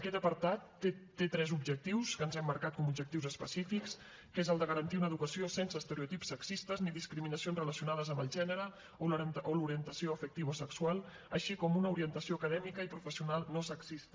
aquest apartat té tres objectius que ens hem marcat com a objectius específics garantir una educació sense estereotips sexistes ni discriminacions relacionades amb el gènere o l’orientació afectivo sexual així com una orientació acadèmica i professional no sexista